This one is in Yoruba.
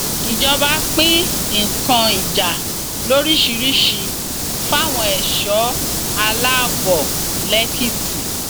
ìjọba pín nǹkan ìjà lóríṣìíríṣìí fáwọn ẹṣọ aláàbọ lẹkìtì